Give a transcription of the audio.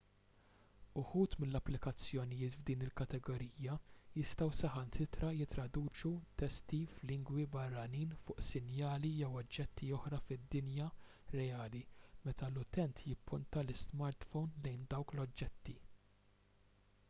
uħud mill-applikazzjonijiet f'din il-kategorija jistgħu saħansitra jittraduċu testi f'lingwi barranin fuq sinjali jew oġġetti oħra fid-dinja reali meta l-utent jipponta l-ismartphone lejn dawk l-oġġetti